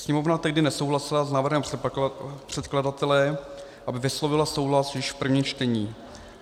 Sněmovna tehdy nesouhlasila s návrhem předkladatele, aby vyslovila souhlas již v prvním čtení.